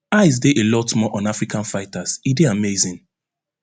eyes dey a lot more on african fighters e dey amazing